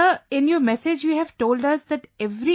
Sir, in your messages you have told us that every